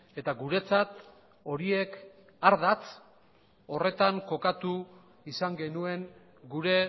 eta guretzat horiek ardatz horretan kokatu izan genuen gure